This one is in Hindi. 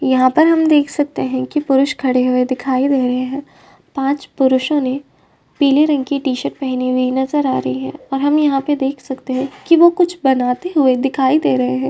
यहाँ पर हम देख सकते हैं की पुरुष खड़े हुए दिखाई रहे हैं। पांच पुरूषों ने पीले रंग की टी-शर्ट पहने हुए नजर आ रहे हैं और हम यहाँ पे देख सकते हैं की वे कुछ बनाते हुए दिखाई दे रहे हैं।